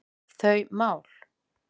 þau mál.